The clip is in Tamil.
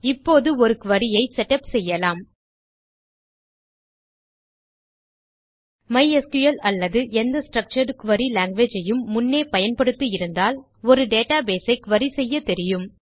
இப்போது ஒரு குரி ஐ செட்டப் செய்யலாம் மைஸ்கிள் அல்லது எந்த ஸ்ட்ரக்சர்ட் குரி லாங்குவேஜ் ஐயும் முன்னே பயன்படுத்தி இருந்தால் ஒரு டேட்டாபேஸ் வை குரி செய்யத்தெரியும்